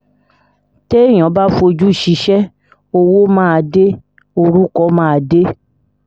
téèyàn bá fojú ṣíṣe owó máa dé orúkọ máa dé